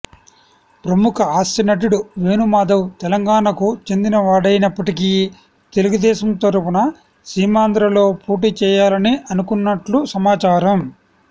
ప్రముఖ హాస్యనటుడు వేణు మాధవ్ తెలంగాణకు చెందినవాడైనప్పటికీ తెలుగుదేశం తరఫున సీమాంధ్రలో పోటీ చేయాలని అనుకుంటున్నట్లు సమాచారం